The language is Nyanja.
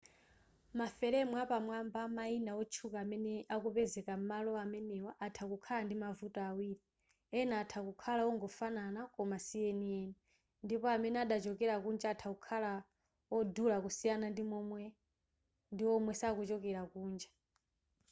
maferemu apamwamba amayina otchuka amene akupezeka m'malo amenewa atha kukhala ndi mavuto awiri ena atha kukhala ongofanana koma sienieni ndipo amene adachokera kunja atha kukhala odula kusiyana ndiwomwe sakuchokera kunja